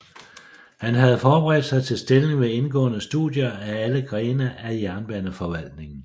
Han havde forberedt sig til stillingen ved indgående studier af alle grene af jernbaneforvaltningen